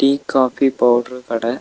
Tea coffee powder கட.